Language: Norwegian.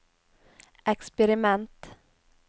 eksperiment